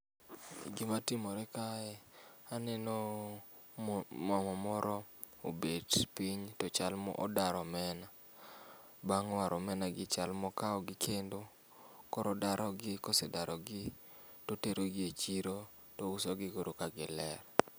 Gima timore kae anenooo moo mama moro obet piny tochal modaro omena. Bang' waro omenagi chal mokawogi kendo koro odarigi kosedarigi toterogie echiro tausogi koro kagiler.